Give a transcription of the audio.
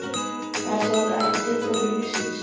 er það ekki bara tilgangur lífsins?